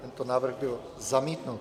Tento návrh byl zamítnut.